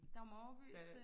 Dagmar Overbys øh